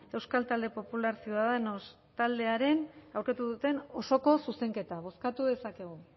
euskal talde popular ciudadanos taldearen aurkeztu duten osoko zuzenketa bozkatu dezakegu